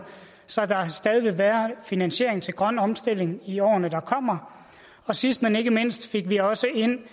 så der stadig vil være finansiering til grøn omstilling i årene der kommer og sidst men ikke mindst fik vi også ind